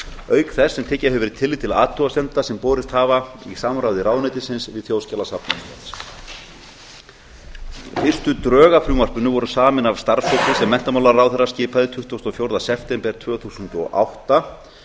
auk þess sem tekið hefur verið tillit til athugasemda sem borist hafa í samráði ráðuneytisins við þjóðskjalasafn íslands fyrstu drög að frumvarpinu voru samin af starfshópi sem menntamálaráðherra skipaði tuttugasta og fjórða september tvö þúsund og átta